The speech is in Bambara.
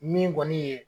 Min kɔni ye